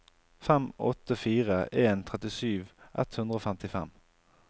fem åtte fire en trettisju ett hundre og femtifem